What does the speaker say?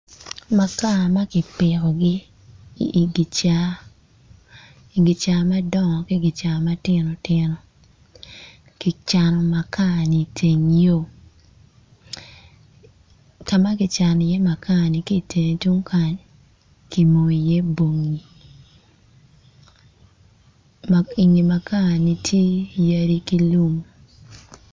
Makar ma kipikogi i ikica i kica madong ki matino tino kicano makar-ni i teng yo ka ma kino iye makar0ni ki i teng yung kany kimonyo iye bongi.